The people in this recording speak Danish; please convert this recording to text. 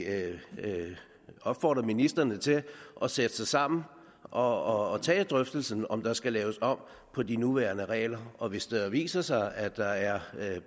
opfordre ministrene til at sætte sig sammen og tage drøftelsen af om der skal laves om på de nuværende regler og hvis det viser sig at der er